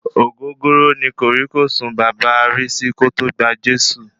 Ògógóró ní kòrí-kòsùn bàba Risi kòtò gba Jésù.